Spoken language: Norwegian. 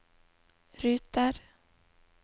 ruter